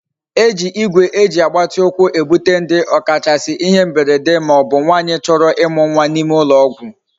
Eji Igwe eji agbati ukwu ebute ndi okachasi ihe mberede ma obu nwanyi choro imu nwa na ime ulo ogwu